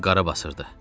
Onu qarabasırdı.